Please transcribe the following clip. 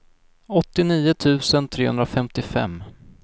åttionio tusen trehundrafemtiofem